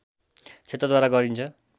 क्षेत्रद्वारा गरिन्छ